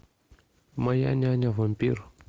моя няня вампир